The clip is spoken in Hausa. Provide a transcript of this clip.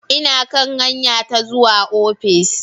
Ina kan hanya ta zuwa ofis.